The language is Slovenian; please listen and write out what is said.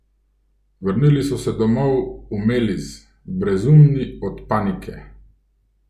Vrnili so se domov v Meliz, brezumni od panike.